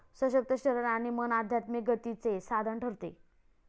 सशक्त शरीर आणि मन आध्यात्मिक गतीचे साधन ठरते.